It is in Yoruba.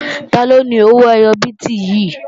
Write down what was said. Taló ni owó ẹyọ bíìtì yìí?